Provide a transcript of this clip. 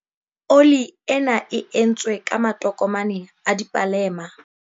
oli ena e entswe ka matokomane a dipalema